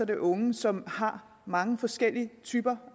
det unge som har mange forskellige typer